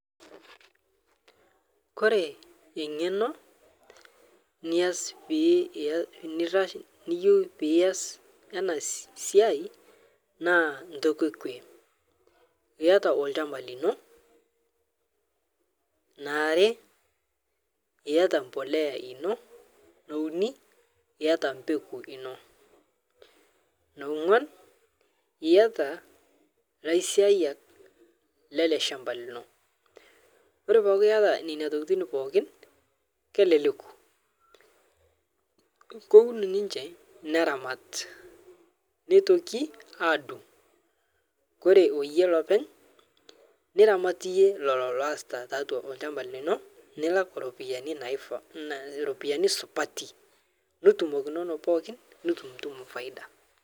Kore eng'eno nias piias nirash niyeu pias ana siai naa ntoki ekwe yiata olchamba lino, neare yiata mbulea ino, neuni yiata mbeku ino, neongw'an niata lasiayak lele shamba lino ore peaku iyata neina tokitin pookin keleleku. Koun ninche neremat neitoki aadung', kore oyie lopeny niramat iyie lolo loasita taatwa olchamba lino nilak ropiyiani naifaa nnai ropiyiani supati nitumokunono pookin nitumtum faida.